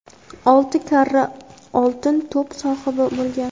olti karra "Oltin to‘p" sohibi bo‘lgan.